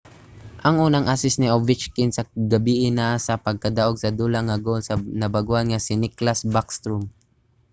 ang unang assist ni ovechkin sa gabii naa sa pagdaug-sa-dula nga goal sa bag-ohan nga si nicklas backstrom;